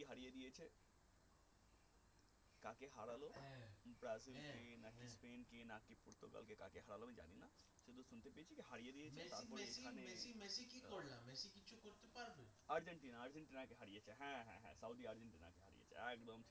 Argentina আর্জেন্টিনাকে হারিয়ে হ্যাঁ হ্যাঁ হ্যাঁ সৌদি আর্জেন্টিনাকে হারিয়ে